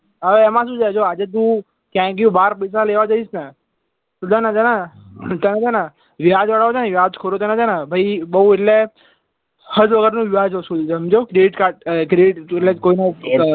હવે એમાં શું છે જો આજે તું ક્યાંથી બાર ડૂચા લેવા જઈશ ને તો છે ને તને છે ને વ્યાજવાળા વ્યાજખોરો છે ને ભાઈ બોવ એટલે હદ વગર નું વ્યાજ વસૂલશે સમજ્યો credit card credit એટલે કોઈ નો